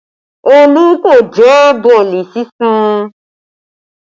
Olú kò jẹ boolì sísun